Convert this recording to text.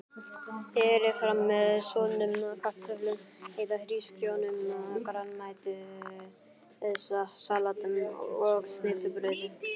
Berið fram með soðnum kartöflum eða hrísgrjónum, grænmetissalati og snittubrauði.